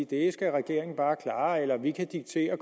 det skal regeringen bare klare eller at vi kan diktere